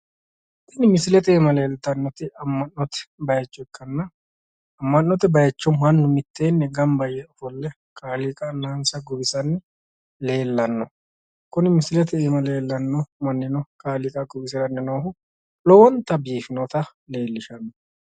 Tini misilete aana leeltannoti amma’note baayicho ikkanna. Amma’note baayicho mannu miteenni gamba yee ofolle kaaliiqa annansa guwisanni leellanno. Kuni misilete aana leellanno mannino kaaliiqa guwisiranni noohu lowonta biifinota leellishanno.